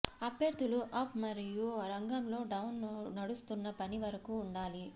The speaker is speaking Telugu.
అభ్యర్థులు అప్ మరియు రంగంలో డౌన్ నడుస్తున్న పని వరకు ఉండాలి